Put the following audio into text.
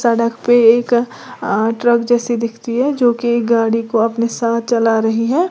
सड़क पे एक अ ट्रक जैसी दिखती है जो की गाड़ी को अपने साथ चला रही है।